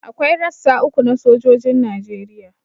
Akwai rassa uku na sojojin Najeriya